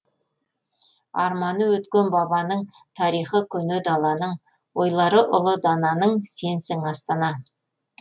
арманы өткен бабаның тарихы көне даланың ойлары ұлы дананың сенсің астана